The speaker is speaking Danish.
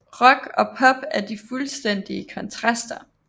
Rock og pop er de fuldstændige kontraster